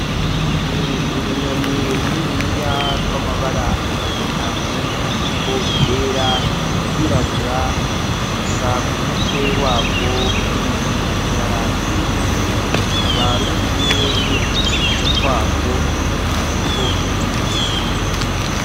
Ni urunyoni runiniya rw'amabara atandukanye, hariko iryera iryirabura, gusa ku mutwe waco hanini hari ibara ryera, rukaba rurikumwe n'uduswi twarwo turiko turinobera.